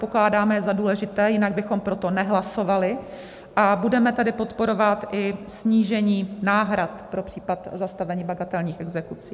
Pokládáme je za důležité, jinak bychom proto nehlasovali, a budeme tedy podporovat i snížení náhrad pro případ zastavení bagatelních exekucí.